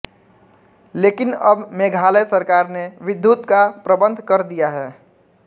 लेकिन अब मेघालय सरकार ने विद्युत का प्रबंध कर दिया है